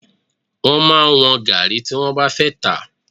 Wọ́n máa ń wọ́n gàárì tí wọ́n bá fẹ́ tà.